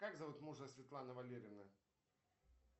как зовут мужа светланы валерьевны